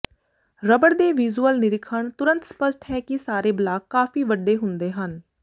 rubber ਦੇ visual ਨਿਰੀਖਣ ਤੁਰੰਤ ਸਪੱਸ਼ਟ ਹੈ ਕਿ ਸਾਰੇ ਬਲਾਕ ਕਾਫ਼ੀ ਵੱਡੇ ਹੁੰਦੇ ਹਨ